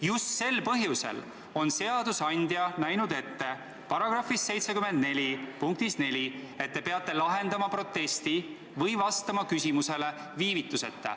Just sel põhjusel on seadusandja näinud § 74 lõikes 4 ette, et te peate lahendama protesti või vastama küsimusele viivituseta.